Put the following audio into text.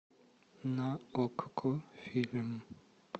на окко фильм